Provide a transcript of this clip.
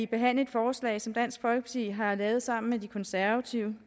behandle et forslag som dansk folkeparti har lavet sammen med de konservative